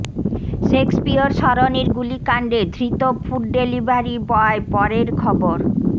Shakespeare সরণির গুলিকাণ্ডে ধৃত ফুড ডেলিভারি বয় পরের খবর